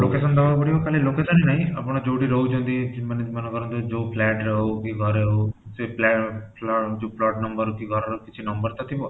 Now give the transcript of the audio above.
location ଦବାକୁ ପଡିବ କାହିଁକି ନା location ରେ ଆପଣ ଯୋଉଠି ରହୁଛନ୍ତି ମାନେ ମନେକର ଯୋଉ flat ରେ ହଉ କି ଘରେ ହଉ ସେ plot number କି ଘର ର କିଛି number ତ ଥିବ